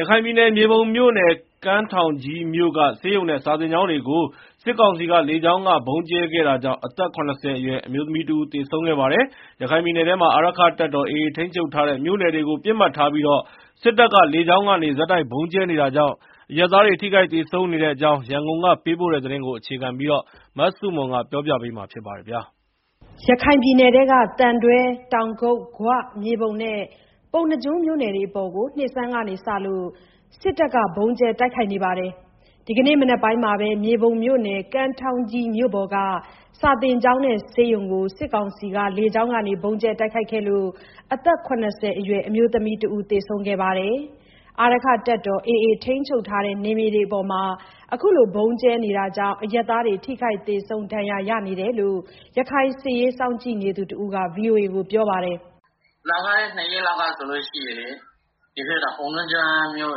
ရခိုင်ပြည်နယ် မြေပုံမြို့နယ် ကမ်းထောင်းကြီးမြို့က ဆေးရုံနဲ့ စာသင်ကျောင်းတွေကို စစ်ကောင်စီ လေကြောင်းက ဗုံးကြဲခဲ့တာကြောင့် အသက် ၇၀ အရွယ် အမျိုးသမီးတဦး သေဆုံးခဲ့ပါတယ်။ ရခိုင်ပြည်နယ်ထဲမှာ အာရက္ခတပ်တော် AA ထိန်းချုပ်ထားတဲ့ မြို့နယ် တွေကို ပစ်မှတ်ထားပြီး စစ်တပ်က လေကြောင်းကနေ ဆက်တိုက်ဗုံးကြဲ နေတာကြောင့် အရပ်သားတွေ ထိခိုက်သေဆုံးနေတဲ့အကြောင်း ရန်ကုန်ကပေးပို့တဲ့သတင်းကို အခြေခံပြီး တင်ပြထားပါတယ်။ ရခိုင်ပြည်နယ်ထဲက သံတွဲ၊ တောင်ကုတ်၊ ဂွ၊ မြေပုံနဲ့ ပုဏ္ဏားကျွန်းမြို့နယ်တွေအပေါ် နှစ်ဆန်းကစလို့ စစ်တပ်က ဗုံးကြဲတိုက်ခိုက်နေပါတယ်။ ဒီကနေ့ မနက်ပိုင်းကပဲ မြေပုံ မြို့နယ် ကမ်းထောင်းကြီးမြို့ပေါ်က စာသင်ကျောင်းနဲ့ ဆေးရုံကို စစ်ကောင်စီ လေကြောင်းက ဗုံးကြဲခဲ့တာကြောင့် အသက် ၇၀ အရွယ် အမျိုးသမီးတဦး သေဆုံးခဲ့ပါတယ်။ အာရက္ခတပ်တော် AA ထိန်းချုပ်ထားတဲ့ မြို့နယ်တွေအပေါ် ခုလို ဗုံးကြဲနေတာကြောင့် အရပ်သား ထိခိုက်သေဆုံး ဒဏ်ရာရနေတယ်လို့ ရခိုင်စစ်ရေး စောင့်ကြည့်နေသူတဦးက ဗွီအိုအေကို ပြောပါတယ်။ “လွန်ခဲ့တဲ့နှစ်ရက်လောက်ကလည်း ပုဏ္ဏားကျွန်းမြို့န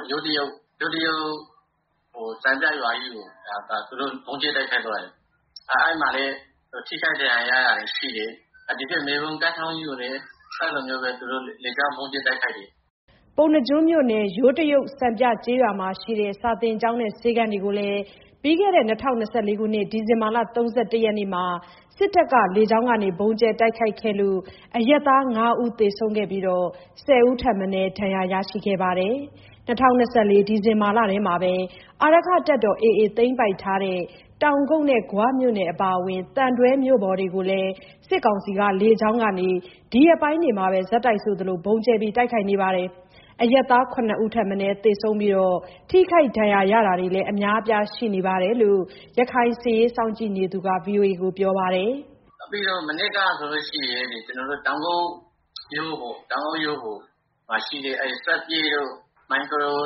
ယ်ထဲက ယိုးတရုတ်စံပြရွာကြီးကို သူတို့ ဗုံးကြဲတိုက်ခိုက်သွားတယ်၊ အဲမှာလည်း သေဆုံး ထိခိုက်ဒဏ်ရာရတာတွေရှိတယ်။ ဒီဘက် မြေပုံ၊ ကမ်းထောင်းကြီးကိုလည်း ဗုံးကြဲတိုက်ခိုက်တယ်။” ပုဏ္ဏားကျွန်းမြို့နယ် ယိုးတရုတ်စံပြကျေးရွာမှာရှိတဲ့ စာသင်ကျောင်းနဲ့ဆေးခန်းတွေကို ပြီးခဲ့တဲ့ ဒီဇင်ဘာလ ၃၁ ရက်နေ့မှာ စစ်တပ်ရဲ့ လေကြောင်းက ဗုံးကြဲခဲ့တာမှာ အရပ်သား ၅ ဦး သေဆုံးခဲ့ပြီး ၁၀ ဦးထက်မနည်း ဒဏ်ရာရရှိခဲ့ပါတယ်။ ၂၀၂၄ ဒီဇင်ဘာလထဲ အာရက္ခ တပ်တော် AA သိမ်းပိုက်ခဲ့တဲ့ တောင်ကုတ်နဲ့ ဂွမြို့နယ်အပါအဝင် သံတွဲမြို့ပေါ်တွေကိုလည်း စစ်ကောင်စီလေကြောင်းက ဒီရက်ပိုင်းအတွင်း ဆက်တိုက်ဆိုသလို ဗုံးကြဲနေတာကြောင့် အရပ်သား ၇ ဦးထက်မနည်း သေဆုံးပြီးတော့ ထိခိုက်ဒဏ်ရာရတာတွေလည်း အများအပြားရှိနေတယ်လို့ ရခိုင်စစ်ရေးစောင့်ကြည့်နေသူတဦးကပြောပါတယ်။ “မနေ့ကဆိုရင်လည်း တောင်ကုတ်မြို့ပေါ်မှာရှိတဲ့ စွပ်ပျက်တို့၊ မိုင်ခရို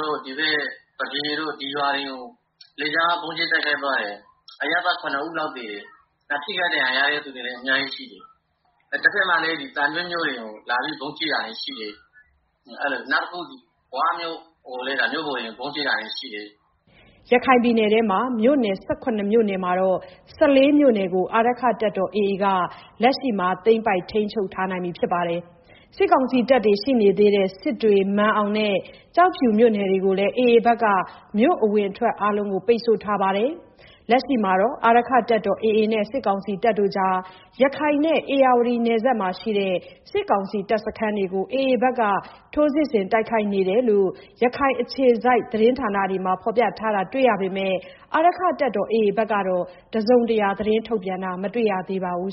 တို့၊ သပြေတို့ ဒီရွာ တွေကို လေကြောင်းက ဗုံးကြဲတိုက်ခိုက်သွားတယ်။ အရပ်သား ၇ ဦးလောက်သေတယ်။ ထိခိုက်ဒဏ်ရာရတဲ့သူတွေလည်း အများကြီးရှိတယ်။ နောက်ပြီးတော့ သံတွဲနဲ့ ဂွမြို့ပေါ်တွေ လည်းကို ဗုံးကြဲတာတွေရှိတယ်။” ရခိုင်ပြည်နယ်ထဲက မြို့နယ် ၁၇ မြို့နယ်မှာ ၁၄ မြို့နယ်ကို အာရက္ခတပ်တော် AA ဘက်က လက်ရှိမှာ သိမ်းပိုက်ထိန်းချုပ်ထားပါတယ်။ စစ်တပ်တွေ ရှိနေသေးတဲ့ စစ်တွေ၊ မာန်အောင်နဲ့ ကျောက်ဖြူမြို့နယ်တွေကိုလည်း AA ဘက်က မြို့အဝင်အထွက်အားလုံးကို ပိတ်ဆို့ထားပါတယ်။ လက်ရှိမှာတော့ AAနဲ့ စစ်ကောင်စီကြား ရခိုင်နဲ့ ဧရာဝတီနယ်စပ်မှာ ရှိတဲ့ စစ်ကောင်စီ တပ်စခန်းတွေကို AA ဘက်က ထိုးစစ်ဆင်တိုက်ခိုက်နေတယ်လို့ ရခိုင်အခြေစိုက် သတင်းဌာနတွေမှာ ဖော်ပြထားတာတွေ့ရပေမယ့် အာရက္ခတပ်တော် AA ဘက်က တစုံတရာ ထုတ်ပြန်ထားတာ မတွေ့ရသေးပါဘူး